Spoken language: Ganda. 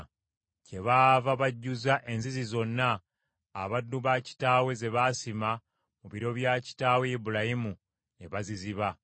Kyebaava bajjuza enzizi zonna abaddu ba kitaawe ze baasima mu biro bya kitaawe Ibulayimu, ne baziziba.